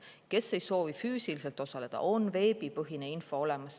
Kes ei soovi füüsiliselt osaleda, selle jaoks on veebipõhine info olemas.